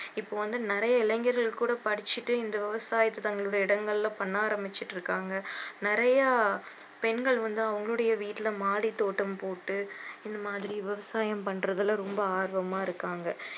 இப்போ வந்து நிறைய இளைஞர்கள் கூட படிச்சிட்டு இந்த விவசாயத்தை தங்களுடைய இடங்களில பண்ண ஆரம்பிச்சிட்டிருக்காங்க நிறைய பெண்கள் வந்து அவங்களுடைய வீட்டுல மாடி தோட்டம் போட்டு இந்தமாதிரி விவசாயம் பண்ணுறதுல ரொம்ப ஆர்வமா இருக்காங்க